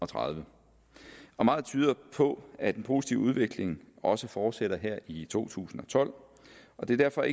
tredive meget tyder på at den positive udvikling også fortsætter her i to tusind og tolv og det er derfor